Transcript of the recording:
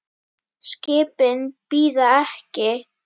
Skipin bíða ekki.